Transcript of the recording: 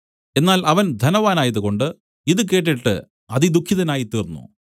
എന്നാൽ അവൻ ധനവാനായത് കൊണ്ട് ഇതു കേട്ടിട്ട് അതിദുഃഖിതനായിത്തീർന്നു